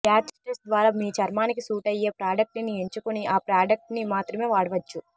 patch test ద్వారా మీ చర్మానికి సూట్ అయ్యే ప్రాడక్ట్ ని ఎంచుకుని ఆ ప్రాడక్ట్ ని మాత్రమే వాడవచ్చు